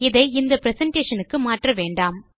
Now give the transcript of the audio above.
இதை இந்த பிரசன்டேஷன் க்கு மாற்ற வேண்டாம்